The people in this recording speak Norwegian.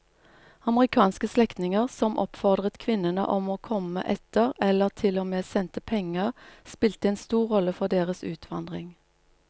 Amerikanske slektninger som oppfordret kvinnene om å komme etter eller til og med sendte penger spilte en stor rolle for deres utvandring.